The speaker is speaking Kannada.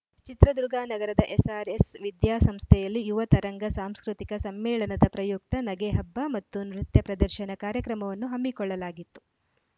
ಚಿತ್ರದುರ್ಗ ನಗರದ ಎಸ್‌ಆರ್‌ಎಸ್‌ ವಿದ್ಯಾಸಂಸ್ಥೆಯಲ್ಲಿ ಯುವ ತರಂಗ ಸಾಂಸ್ಕೃತಿಕ ಸಮ್ಮೇಳನದ ಪ್ರಯುಕ್ತ ನಗೆಹಬ್ಬ ಮತ್ತು ನೃತ್ಯ ಪ್ರದರ್ಶನ ಕಾರ್ಯಕ್ರಮವನ್ನು ಹಮ್ಮಿಕೊಳ್ಳಲಾಗಿತ್ತು